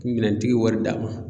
minɛntigi wari d'a ma.